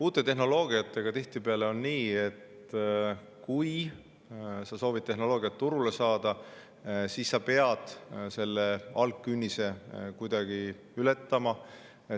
Uute tehnoloogiatega on tihtipeale nii, et kui sa soovid tehnoloogia turule saada, siis sa pead selle künnise kuidagi ületama.